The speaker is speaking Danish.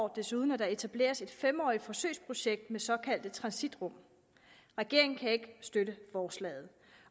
desuden at der etableres et fem årig t forsøgsprojekt med såkaldte transitrum regeringen kan ikke støtte forslaget